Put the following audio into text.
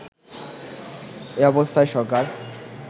এ অবস্থায় সরকার